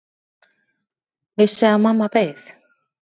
Vissi að mamma beið.